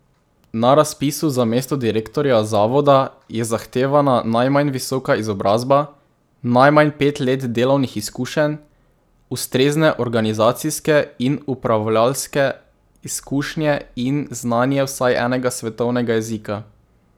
Na razpisu za mesto direktorja zavoda je zahtevana najmanj visoka izobrazba, najmanj pet let delovnih izkušenj, ustrezne organizacijske in upravljalske izkušnje in znanje vsaj enega svetovnega jezika.